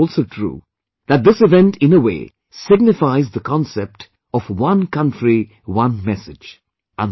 And it is also true, that this event in a way signifies the concept of one countryone message